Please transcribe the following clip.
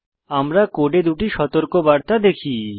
আমরা কোডে দুটি সতর্কবার্তা দেখি